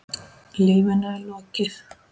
Lífinu er lokið.